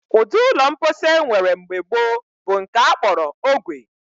Ụdị ụlọ mposi e nwere mgbe gboo bụ nke a kpọrọ ogwe